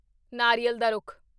ਨਾਰੀਅਲ ਦਾ ਰੁੱਖ